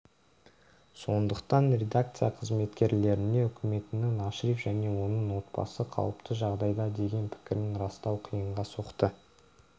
сондықтан редакция қызметкерлеріне үкіметінің ашриф және оның отбасы қауіпті жағдайда деген пікірін растау қиынға соқты